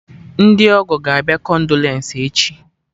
Ndị ọgọ ga-abịa kondolence echi